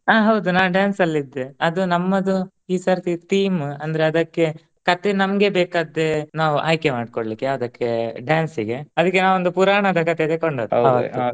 ಆ ಹೌದು ನಾ dance ಅಲ್ ಇದ್ದೇ ಅದು ನಮ್ಮದು ಈ ಸರ್ತಿ theme ಅಂದ್ರೆ ಅದಕ್ಕೆ ಕಥೆ ನಮ್ಗೆ ಬೇಕಾದ್ದೇ ನಾವು ಆಯ್ಕೆ ಮಾಡ್ಕೊಳ್ಲಿಕೆ ಯಾವ್ದಕ್ಕೆ dance ಇಗೆ ಅದಕ್ಕೆ ನಾ ಒಂದು ಪುರಾಣದ ಕಥೆ ತಕೊಂಡದ್ದು .